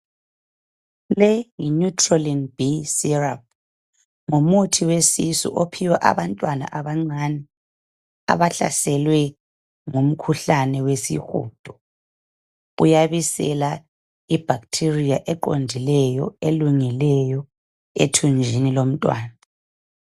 Le yineutrolin bsyrup ngumuthi wesisu ophiwa abantwana bancane abahlaselwe yishudo. Uyabisela ibactrria elungileyo eqondileyo ethunjini lomntwana.